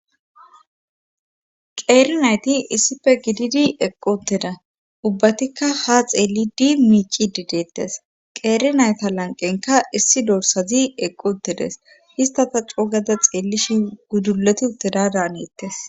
qeeri nayti issife gididi eqq uuttida ubbatikka ha xeellidi miicidi deettes qeeri nayta lanqenka issi dorsazi eqqu uttedes ista ta coo gada xeellishi gudulti utteda daanettes